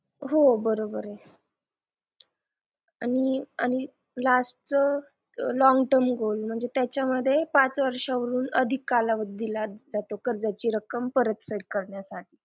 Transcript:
हो बरोबर आहे आणि आणि lastlong term loan म्हणजे त्याच्यामध्ये पाच वर्षाहून अधिक कालावधी दिला जातो कर्जेचे रक्कम परतफेड करण्यासाठी